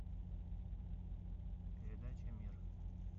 передача мир